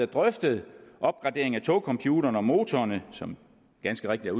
drøftet opgradering af togcomputeren og motorerne som ganske rigtigt